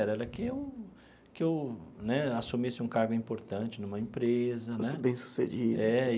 Era que eu que eu né assumisse um cargo importante em uma empresa. Fosse bem sucedido. É.